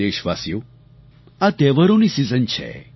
પ્રિય દેશવાસીઓ આ તહેવારોની સીઝન છે